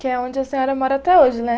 Que é onde a senhora mora até hoje, né?